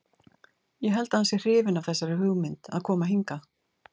Ég held að hann sé hrifinn af þessari hugmynd að koma hingað.